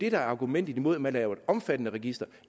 er argumentet mod at man laver et omfattende register